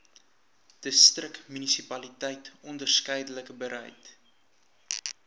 distriksmunisipaliteit onderskeidelik bereid